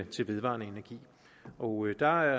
til vedvarende energi og der